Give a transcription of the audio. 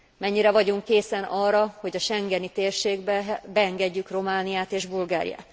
Mennyire vagyunk készen arra, hogy a schengeni térségbe beengedjük Romániát és Bulgáriát?